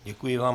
Děkuji vám.